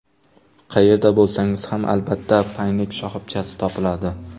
Qayerda bo‘lsangiz ham, albatta Paynet shoxobchasi topiladi.